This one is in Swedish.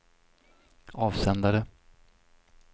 avsändare